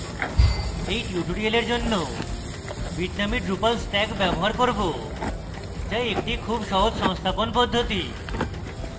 এই tutorial জন্য bitnami drupal stack ব্যবহার করব যা একটি খুব সহজ সংস্থাপন পদ্ধতি